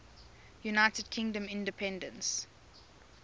united kingdom independence